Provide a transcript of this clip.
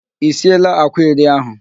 I sieela àkwá iri ahụ